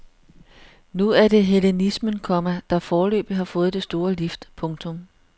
Nu er det hellenismen, komma der foreløbig har fået det store lift. punktum